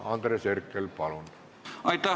Andres Herkel, palun!